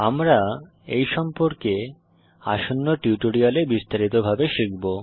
আমরা এই সম্পর্কে আসন্ন টিউটোরিয়ালে বিস্তারিত ভাবে শিখব